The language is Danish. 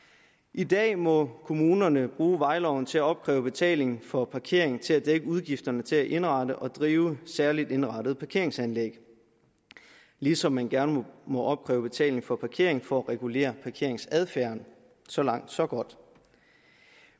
i dag må kommunerne bruge vejloven til at opkræve betaling for parkering til at dække udgifterne til at indrette og drive særligt indrettede parkeringsanlæg ligesom man gerne må opkræve betaling for parkering for at regulere parkeringsadfærden så langt så godt